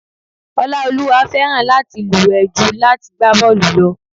Oláolúwa fẹ́ràn láti luwe ju láti gbá bọ́ọlù lọ.